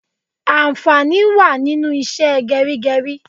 Ànfàní wá nínú ìṣe gerigeri